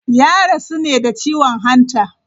Ya rasu ne da ciwon hanta.